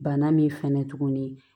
Bana min fɛnɛ tuguni